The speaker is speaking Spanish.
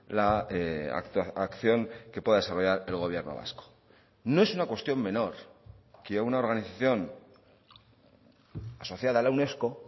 la acción que pueda desarrollar el gobierno vasco no es una cuestión menor que una organización asociada a la unesco